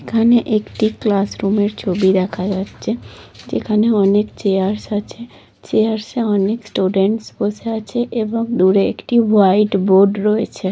এখানে একটি ক্লাস রুমের ছবি দেখা যাচ্ছে যেখানে অনেক চেয়ারস আছে চেয়ারস এ অনেক স্টুডেন্টস বসে আছে এবং দূর একটি হোয়াইট বোর্ড রয়েছে।